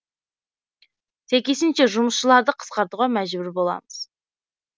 сәйкесінше жұмысшыларды қысқартуға мәжбүр боламыз